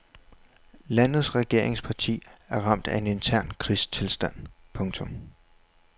Landets regeringsparti er ramt af en intern krigstilstand. punktum